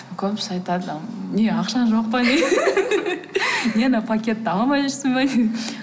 көбісі айтады м не ақшаң жоқ па не не мына пакетті ала алмай жүрсің бе не